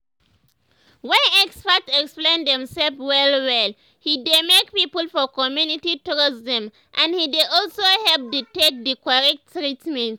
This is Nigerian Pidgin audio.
when experts explain them self well well he dey make people for community trust them and he dey also help the take the correct treatment.